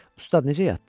Ustad, necə yatdın?